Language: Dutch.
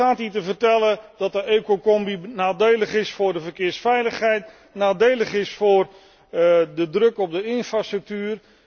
U staat hier te vertellen dat de ecocombi nadelig is voor de verkeersveiligheid, nadelig is voor de druk op de infrastructuur.